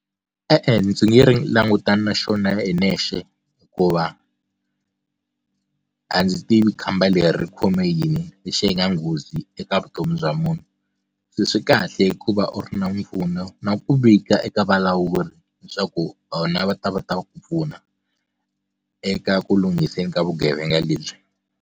E-e ndzi nge ri langutana na xona hi nexe hikuva a ndzi tivi khamba leri ri khome yini lexi hi nga nghozi eka vutomi bya munhu se swi kahle hikuva u ri na mpfuno na ku vika eka valawuri leswaku vona va ta va ta va ku pfuna eka ku lunghiseni ka vugevenga lebyi.